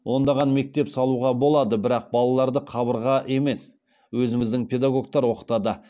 ондаған мектеп салуға болады бірақ балаларды қабырға емес өзіміздің педагогтер оқытады